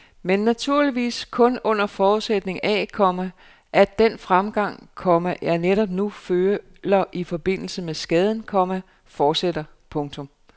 Men naturligvis kun under forudsætning af, komma at den framgang, komma jeg netop nu føler i forbindelse med skaden, komma fortsætter. punktum